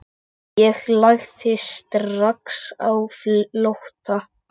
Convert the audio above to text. Ég lagði strax á flótta.